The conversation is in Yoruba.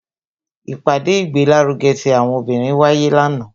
ipade igbelaruge ti àwọn obinrin wáyé lanaa,